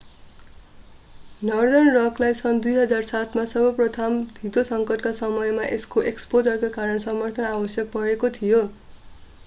northern रकलाई सन् 2007 मा सबप्राइम धितो सङ्कटका समयमा यसको एक्सपोजरका कारण समर्थन आवश्यक परेको थियो